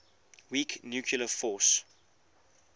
weak nuclear force